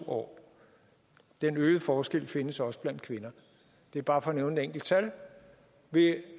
år den øgede forskel findes også blandt kvinder det er bare for at nævne et enkelt tal vil